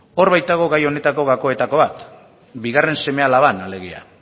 hor baitago gai honetako gakoetako bat bigarren seme alaban alegia